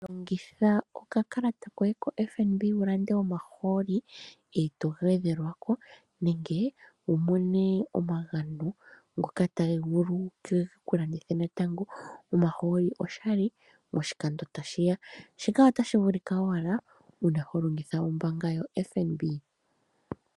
Longitha okakalata koye ko FNB ulande omahoololi eto gwedhelwako, nenge wu mone omagano ngoka taga vulu ge ku landithe natango omahooli oshali moshikando tashiya. Shika ota shi vulika owala uuna walongitha kombaanga yo FNB.